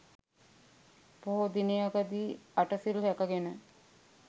පොහෝ දිනයකදී අටසිල් රැකගෙන